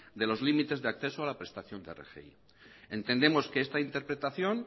de los límites de acceso a la prestación de rgi entendemos que esta interpretación